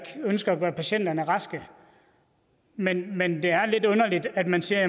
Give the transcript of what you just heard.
ønsker at gøre patienterne raske men men det er lidt underligt at man siger at